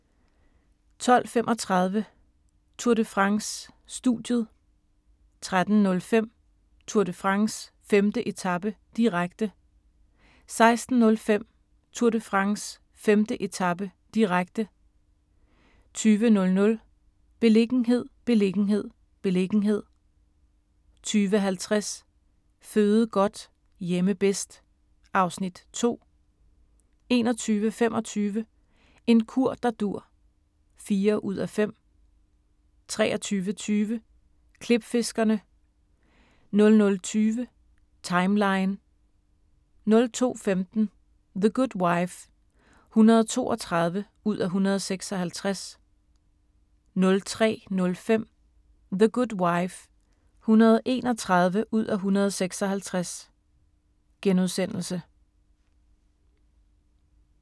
12:35: Tour de France: Studiet 13:05: Tour de France: 5. etape, direkte 16:05: Tour de France: 5. etape, direkte 20:00: Beliggenhed, beliggenhed, beliggenhed 20:50: Føde godt – hjemme bedst (Afs. 2) 21:25: En kur der dur (4:5) 23:20: Klipfiskerne 00:20: Timeline 02:15: The Good Wife (132:156) 03:05: The Good Wife (131:156)*